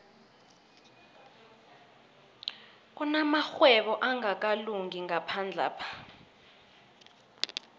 kunamarhwebo angakalungi ngaphandlapha